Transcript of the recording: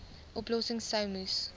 oplossings sou moes